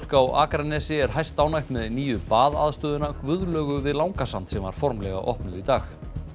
á Akranesi er hæstánægt með nýju Guðlaugu við Langasand sem var formlega opnuð í dag